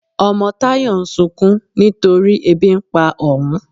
Ọmọ Tayọ̀ ń ṣunkún nítorí èbí n pà ọún.